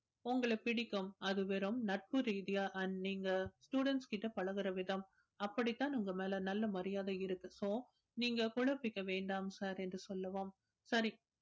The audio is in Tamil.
உங்களை பிடிக்கும் அது வெறும் நட்பு ரீதியா தான் நீங்க students கிட்ட பழகுற விதம் அப்படித்தான் உங்க மேல நல்ல மரியாதை இருக்கு so நீங்க குழப்பிக்க வேண்டாம் sir என்று சொல்லவும் சரி